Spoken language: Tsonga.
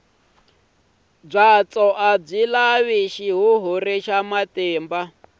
byatso a byi lavi xihuhuri xa matimba